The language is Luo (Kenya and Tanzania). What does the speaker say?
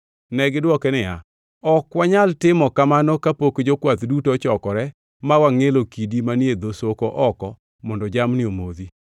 Negidwoke niya, “Ok wanyal timo kamano kapok jokwath duto ochokore ma wangʼielo kidi manie dho soko oko mondo jamni omodhi.”